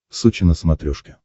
сочи на смотрешке